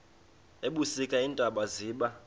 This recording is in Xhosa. ebusika iintaba ziba